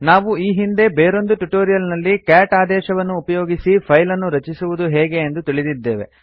ನಾವು ಈ ಹಿಂದೆ ಬೇರೊಂದು ಟ್ಯುಟೋರಿಯಲ್ ನಲ್ಲಿ ಕ್ಯಾಟ್ ಆದೇಶವನ್ನು ಉಪಯೋಗಿಸಿ ಫೈಲ್ ಅನ್ನು ರಚಿಸುವುದು ಹೇಗೆ ಎಂದು ತಿಳಿದಿದ್ದೇವೆ